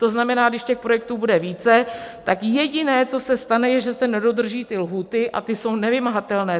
To znamená, když těch projektů bude více, tak jediné, co se stane, je, že se nedodrží ty lhůty, a ty jsou nevymahatelné.